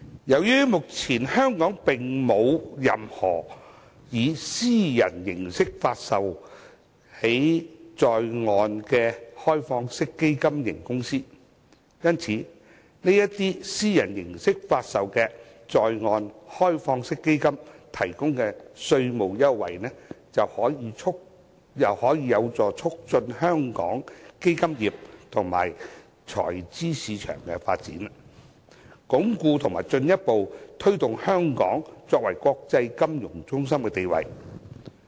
由於香港目前並沒有任何以私人形式發售的在岸開放式基金型公司，為這些以私人形式發售的在岸開放式基金提供稅務優惠，將有助促進香港基金業及財資市場的發展，鞏固和進一步推動香港作為國際金融中心的地位。